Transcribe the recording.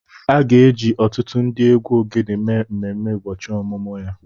A ga-eji ọtụtụ ndị egwu ogene mee mmemme ụbọchị ọmụmụ ya